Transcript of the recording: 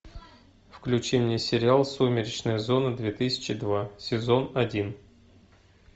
включи мне сериал сумеречная зона две тысячи два сезон один